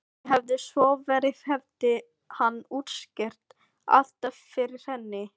Því hefði svo verið hefði hann útskýrt allt fyrir henni.